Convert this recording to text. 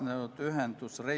Tänan!